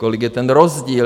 Kolik je ten rozdíl?